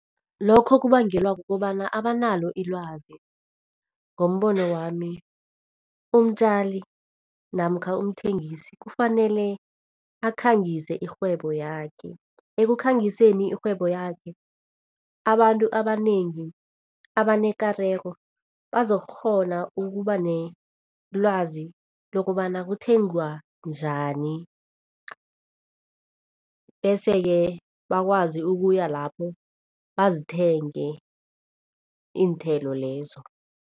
Lokho kubangelwa kukobana abanalo ilwazi. Ngombono wami, umtjali namkha umthengisi kufanele akhangise irhwebo yakhe. Ekukhangise irhwebo yakhe, abantu abanengi abanekareko bazokukghona ukuba nelwazi lokobana kuthengwa njani bese-ke bakwazi ukuyalapho, bazithenge iinthelo lezo.